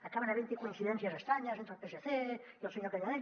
acaben haventhi coincidències estranyes entre el psc i el senyor canadell